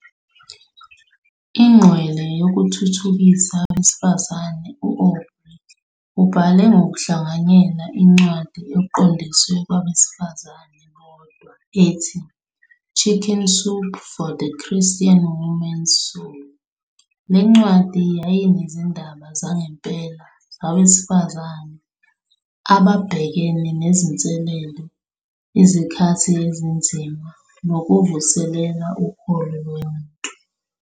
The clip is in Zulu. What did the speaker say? Ingqwele yokuthuthukisa abesifazane, u-Aubrey ubhale ngokuhlanganyela incwadi eqondiswe kwabesifazane bodwa ethi, "Chicken Soup for the Christian Woman's Soul." Le ncwadi yayinezindaba zangempela zabesifazane ababhekene nezinselele, izikhathi ezinzima nokuvuselela ukholo lomuntu.